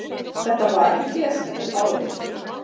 Þetta var í desember árið